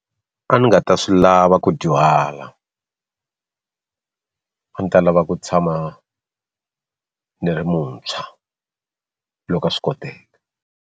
A ni nga ta swi lava ku dyuhala a ni ta lava ku tshama ni ri muntshwa loko a swi koteka.